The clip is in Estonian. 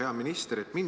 Hea minister!